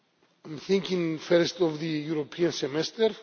I am thinking first of the European Semester.